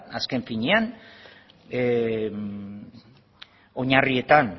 azken finean oinarrietan